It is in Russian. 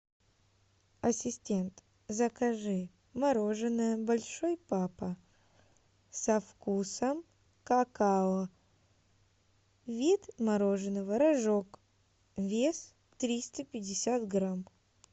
ассистент закажи мороженое большой папа со вкусом какао вид мороженого рожок вес триста пятьдесят грамм